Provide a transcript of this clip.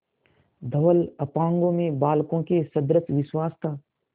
धवल अपांगों में बालकों के सदृश विश्वास था